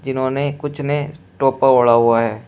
इन्होंने कुछ ने टोपा ओढ़ा हुआ है।